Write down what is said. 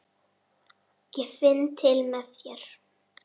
Ég finn til með þér.